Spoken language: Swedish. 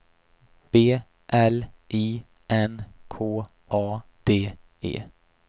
B L I N K A D E